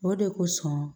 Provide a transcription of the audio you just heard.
O de kosɔn